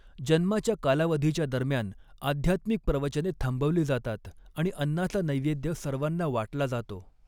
जन्माच्या कालावधीच्या दरम्यान, आध्यात्मिक प्रवचने थांबवली जातात आणि अन्नाचा नैवेद्य सर्वांना वाटला जातो.